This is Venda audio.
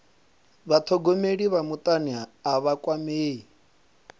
vhathogomeli vha mutani a vha kwamei